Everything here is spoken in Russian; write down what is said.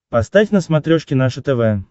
поставь на смотрешке наше тв